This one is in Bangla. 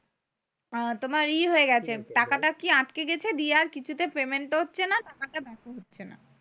তোমার ই হয়ে গেছে। কি হয়েছে বল? টাকাটা কি আটকে গেছে দিয়ে আর কিছুতে payment ও হচ্ছে না টাকাটা back ও হচ্ছে না।